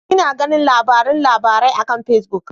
Ina ganin labaran labarai akan Pacebook.